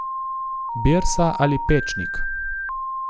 Birsa ali Pečnik?